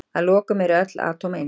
Að lokum, eru öll atóm eins?